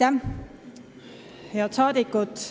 Head rahvasaadikud!